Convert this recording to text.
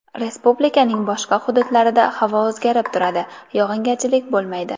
Respublikaning boshqa hududlarida havo o‘zgarib turadi, yog‘ingarchilik bo‘lmaydi.